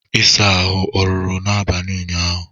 ịsa ahụ ọ rụrụ n'abalị ụnyaahụ?